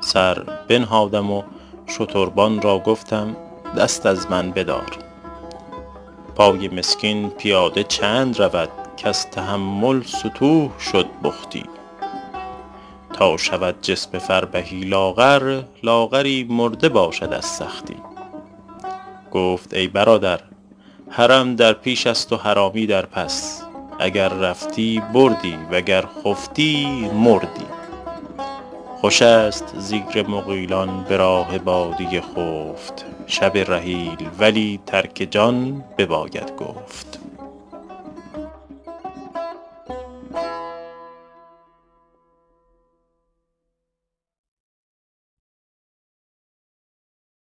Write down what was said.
سر بنهادم و شتربان را گفتم دست از من بدار پای مسکین پیاده چند رود کز تحمل ستوه شد بختی تا شود جسم فربهی لاغر لاغری مرده باشد از سختی گفت ای برادر حرم در پیش است و حرامی در پس اگر رفتی بردی وگر خفتی مردی خوش است زیر مغیلان به راه بادیه خفت شب رحیل ولی ترک جان بباید گفت